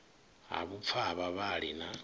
ha vhupfa ha vhavhali na